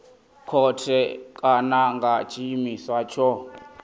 khothe kana nga tshiimiswa tsho